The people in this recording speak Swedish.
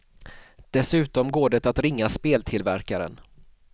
Dessutom går det att ringa speltillverkaren.